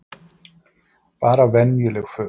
Bara venjuleg föt?